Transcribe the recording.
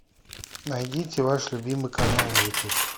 найдите ваш любимый канал на ютуб